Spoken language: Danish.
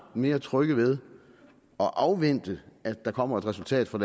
mere trygge ved at afvente at der kommer et resultat fra